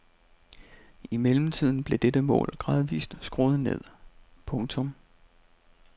I mellemtiden blev dette mål gradvist skruet ned. punktum